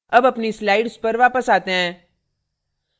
अब अपनी slide पर वापस आते हैं